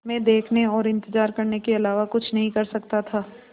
मैं देखने और इन्तज़ार करने के अलावा कुछ नहीं कर सकता था